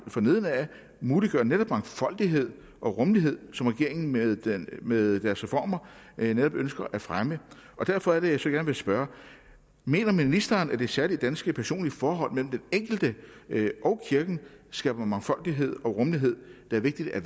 fra neden muliggør netop mangfoldighed og rummelighed som regeringen med med dens reformer netop ønsker at fremme derfor er det jeg gerne vil spørge mener ministeren at det særlige danske personlige forhold mellem den enkelte og kirken skaber mangfoldighed og rummelighed der er vigtig at